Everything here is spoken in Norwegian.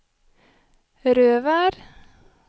Røvær